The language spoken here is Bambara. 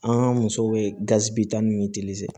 An musow bɛ gazi bitɔn ninnu ni